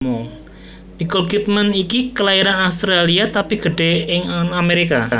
Nicole Kidman iki kelairan Australia tapi gedhe nang Amerika